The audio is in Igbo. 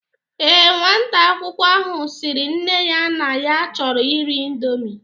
Ee, nwata akwụkwọ ahụ sịrị nne ya na ya chọrọ iri ịndomi